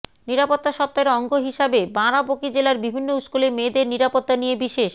নিরাপত্তা সপ্তাহের অঙ্গ হিসেবে বারাবঁকী জেলার বিভিন্ন স্কুলে মেয়েদের নিরাপত্তা নিয়ে বিশেষ